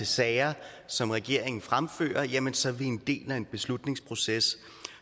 sager som regeringen fremfører jamen så er vi en del af en beslutningsproces